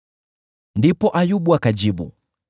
Ndipo Ayubu akajibu: